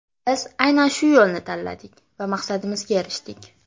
Biz aynan shu yo‘lni tanladik va maqsadimizga erishdik.